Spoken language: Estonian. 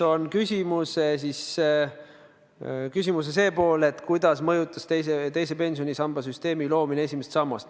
Nüüd, küsimuse see pool, kuidas mõjutas teise pensionisamba loomine esimest sammast.